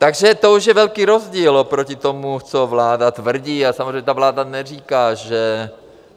Takže to už je velký rozdíl oproti tomu, co vláda tvrdí a samozřejmě ta vláda neříká, že...